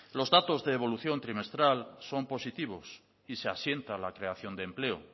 los datos de evolución trimestral son positivos y se asienta la creación de empleo